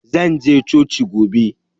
Zan je coci gobe.